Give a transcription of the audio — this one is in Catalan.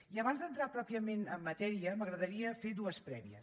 i abans d’entrar pròpiament en matèria m’agradaria fer dues prèvies